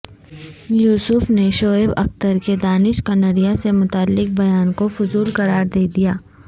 یوسف نے شعیب اختر کے دانش کنیریا سے متعلق بیان کو فضول قرار دیدیا